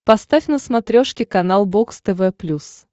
поставь на смотрешке канал бокс тв плюс